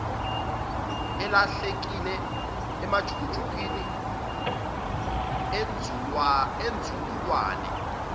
elahlekile emajukujukwini enzululwane